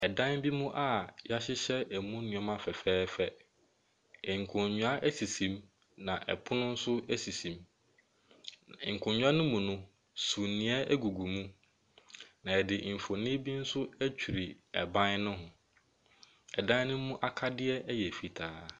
Ɛdan bi mu a wɔahyehyɛ ɛmu nneɛma fɛfɛɛfɛ. Nkonnwa sisi mu, na ɛpono nso sisi mu. Nkonnwa no mu no, sumiiɛ gugu mu, na wɔde mfonin bi nso atwere ban no ho, Ɛdan no mu akadeɛ yɛ fitaa.